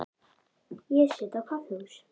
Ég sit á kaffihúsi.